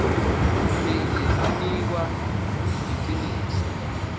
linye linikwa liciniso